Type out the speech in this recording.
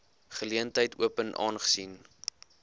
geleentheid open aangesien